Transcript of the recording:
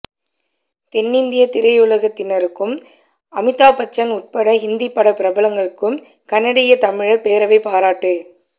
தென்னிந்திய திரையுலகத்தினருக்கும் அமிதாப்பச்சன் உட்பட்ட ஹிந்திப்பட பிரபலங்கட்கும் கனடிய தமிழர் பேரவை பாராட்டு